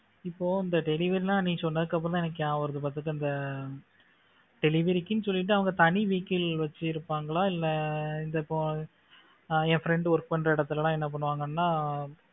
இப்போ இந்த delivery நீ சொன்னதுக்கு அப்புறம் தான் எனக்கு ஞாபகம் வருது பாத்துக்கோ இந்த delivery க்குன்னு சொல்லிட்டு அவங்க தனி vehicle வச்சிருப்பாங்களா இல்ல இந்த இப்போ என் friend work பண்ற இடத்துல எல்லாம் என்ன பண்ணுவாங்கன்னா